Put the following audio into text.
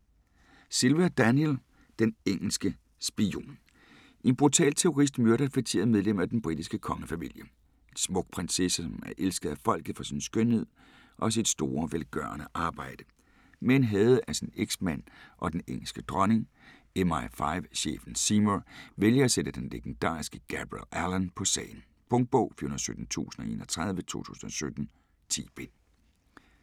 Silva, Daniel: Den engelske spion En brutal terrorist myrder et feteret medlem af den britiske kongefamilie. En smuk prinsesse, som er elsket af folket for sin skønhed og sit store velgørende arbejde. Men hadet af sin eksmand og den engelske dronning. MI5 chefen Seymour vælger at sætte den legendariske Gabriel Allon på sagen. Punktbog 417031 2017. 10 bind.